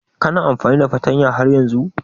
Kana amfani da fartanya har yanzun?